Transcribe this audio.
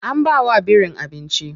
An bawa birin abinci.